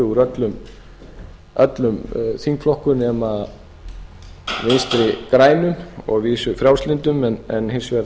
úr öllum þingflokkum nema fimm vinstri góðum og að vísu frjálslyndum en hins vegar